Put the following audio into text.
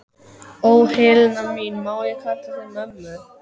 Ó, Helena mín, má ég kalla þig mömmu?